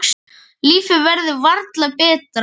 Lífið verður varla betra.